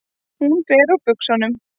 Hún fer úr buxunum.